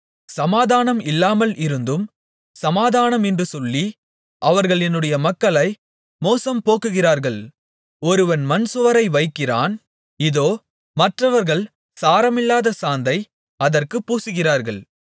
சமாதானம் இல்லாமல் இருந்தும் சமாதானமென்று சொல்லி அவர்கள் என்னுடைய மக்களை மோசம் போக்குகிறார்கள் ஒருவன் மண்சுவரை வைக்கிறான் இதோ மற்றவர்கள் சாரமில்லாத சாந்தை அதற்குப் பூசுகிறார்கள்